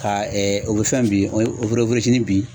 Ka o bɛ fɛn bin o sini bi.